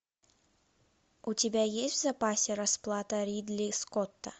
у тебя есть в запасе расплата ридли скотта